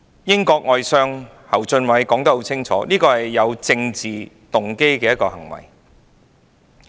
英國外相侯俊偉說得很清楚，這是有政治動機的行為。